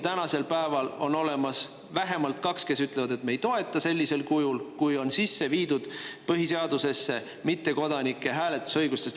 Täna aga vähemalt kaks ütlevad, et nad ei toeta seda sellisel kujul, kui põhiseadusesse on sisse viidud mittekodanike hääletusõigus.